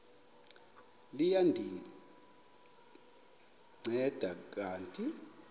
liya ndinceda kanti